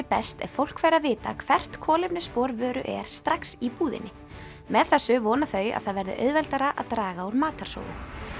best ef fólk fær að vita hvert kolefnisspor vöru er strax í búðinni með þessu vona þau að það verði auðveldara að draga úr matarsóun